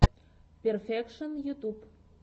перфекшон ютуб